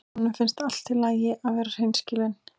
Honum finnst allt í lagi að vera hreinskilinn.